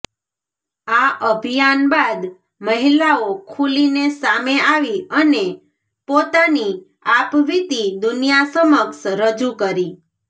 આ અભિયાન બાદ મહિલાઓ ખુલીને સામે આવી અને પોતાની આપવીતી દુનિયા સમક્ષ રજૂ કરી